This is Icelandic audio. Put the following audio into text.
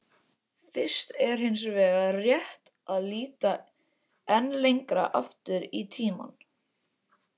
Fyrst er hins vegar rétt að líta enn lengra aftur í tímann.